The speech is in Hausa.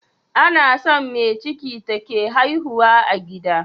Anason me ciki take haihuwa a gida